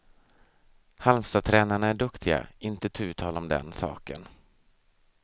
Halmstadtränarna är duktiga, inte tu tal om den saken.